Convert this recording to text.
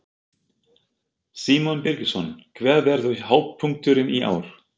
Símon Birgisson: Hver verður hápunkturinn í ár?